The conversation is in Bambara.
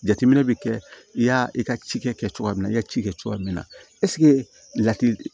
Jateminɛ bɛ kɛ i y'a i ka ci kɛ cogoya min na i ka ci kɛ cogoya min na lati